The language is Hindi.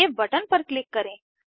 सेव बटन पर क्लिक करें